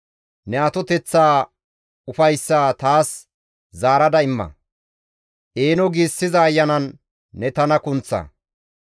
Ne atoteththaa ufayssaa taas zaarada imma; eeno giissiza ayanan ne tana kunththa.